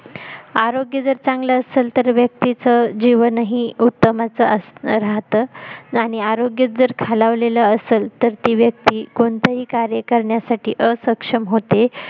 आरोग्य जर चांगल असेल तर व्यक्तीच जीवनाही उत्तम असं राहतं आणि आरोग्य जर खालवलेलं असेल तर ती व्यक्ति कोणताही कार्य करण्यासाठी असक्षम होते